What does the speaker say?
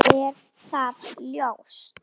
Mér er það ljóst.